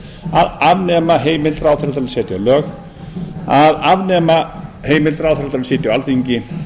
að afnema heimild ráðherra til að setja lög að afnema heimild ráðherra til að sitja á alþingi